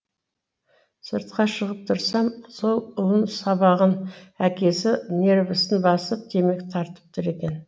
сыртқа шығып тұрсам сол ұлын сабаған әкесі нервысын басып темекі тартып тұр екен